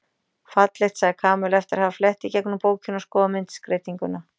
Fallegt sagði Kamilla eftir að hafa flett í gegnum bókina og skoðað myndskreytinguna.